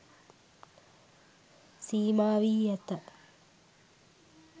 සීමා වී ඇත.